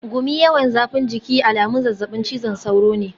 Gumi, yawan zafin jiki alamun zazzabin cizon sauro ne.